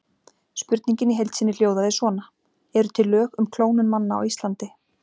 Spurningin í heild sinni hljóðaði svona: Eru til lög um klónun manna á Íslandi?